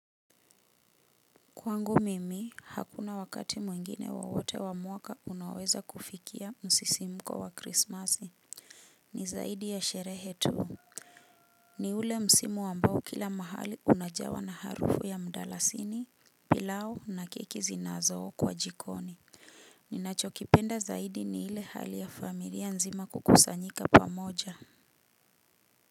Kwangu mimi hakuna wakati mwingine wowote wa mwaka unaoweza kufikia msisimuko wa krismasi ni zaidi ya sherehe tu. Ni ule msimu ambao kila mahali unajawa na harufu ya mdalasini, pilao na keki zinazo okwa jikoni ninachokipenda zaidi ni ile hali ya familia nzima kukasanyika pamoja.